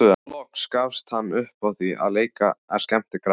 Loks gafst hann upp á því að leika skemmtikraft.